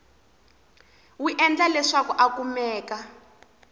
wi endla leswaku a kumeka